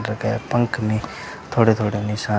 पंख में थोड़े थोड़े निशान--